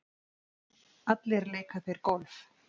Allir leika þeir golf.